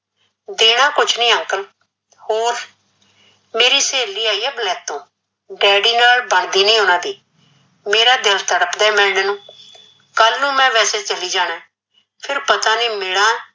ਦੇਣਾ ਕੁਝ ਨੀ uncle ਹੋਰ ਮੇਰੀ ਸਹੇਲੀ ਆਈ ਏ ਬਲੇਤੋਂ daddy ਨਾਲ ਬਣਦੀ ਨੀ ਉਨਾਂ ਦੀ ਕੱਲ ਨੂੰ ਮੈ ਵੈਸੇ ਚੱਲੀ ਜਾਣਾ ਫਿਰ ਪਤਾ ਨੀ ਮੀਲਾਂ